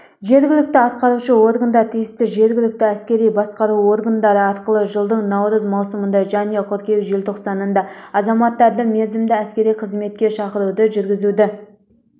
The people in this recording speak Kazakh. жергілікті атқарушы органдар тиісті жергілікті әскери басқару органдары арқылы жылдың наурыз маусымында және қыркүйек желтоқсанында азаматтарды мерзімді әскери қызметке шақыруды жүргізуді